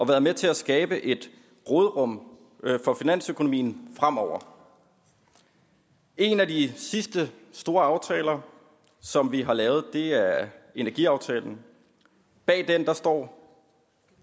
været med til at skabe et råderum for finansøkonomien fremover en af de seneste store aftaler som vi har lavet er er energiaftalen bag den står